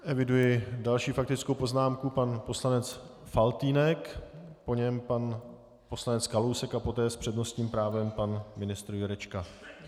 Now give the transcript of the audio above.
Eviduji další faktickou poznámku - pan poslanec Faltýnek, po něm pan poslanec Kalousek a poté s přednostním právem pan ministr Jurečka.